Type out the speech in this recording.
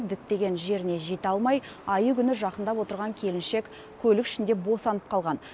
діттеген жеріне жете алмай айы күні жақындап отырған келіншек көлік ішінде босанып қалған